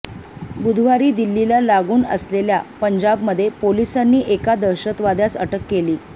बुधवारी दिल्लीला लागून असलेल्या पंजाबमध्ये पोलिसांनी एका दहशतवाद्यास अटक केली